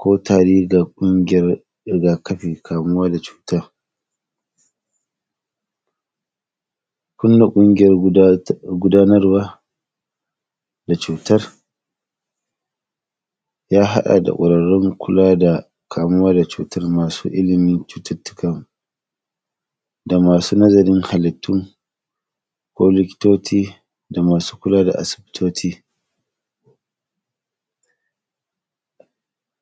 ko tari ga ƙungiyar riga-kafin kamuwa da cuta. Kulla ƙungiyar guda t; gudanarwa da cutar, ya haɗa da ƙwararun kula da kamuwa da cutar masu ilimin cututtuka da masu nazarin halittu ko likitoti da masu kula da asibitoti.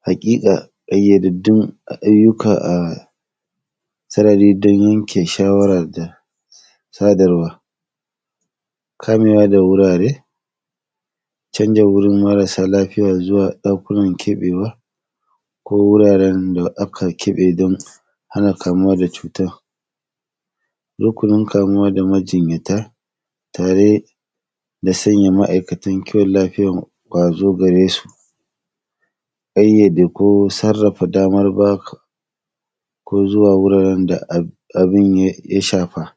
Haƙiƙa, ƙayyadaddun ayyuka a sarari don yanke shawarar da sadarwa. Kamewa da wurare, canza wurin marasa lafiya zuwa ɗakunan keƃewa ko wuraren da aka keƃe don hana kamuwa da cuta Rukunin kamuwa da majinyata tare da sanya ma’aikatan kiwon lafiyan wa ya zo gare su, ƙayyade ko sarrafa damar ba ka ko zuwa wuraren da ab; abin ya; ya shafa.